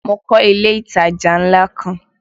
Mo kọ́ ilé ìtajà ńlá kan